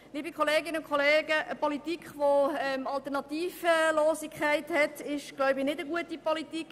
Liebe Kolleginnen und Kollegen, eine Politik, die alternativlos ist, ist meines Erachtens keine gute Politik.